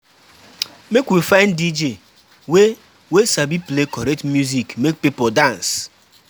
Make we find DJ wey wey sabi play correct music make pipo dance.